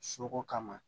Soko kama